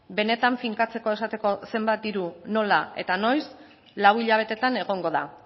benetan finkatzeko esateko zenbat diru nola eta noiz lau hilabetetan egongo da